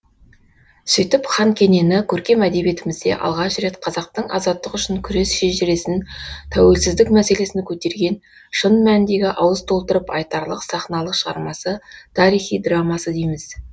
сөйтіп хан кенені көркем әдебиетімізде алғаш рет қазақтың азаттық үшін күрес шежіресін тәуелсіздік мәселесін көтерген шын мәніндегі ауыз толтырып айтарлық сахналық шығармасы тарихи драмасы дейміз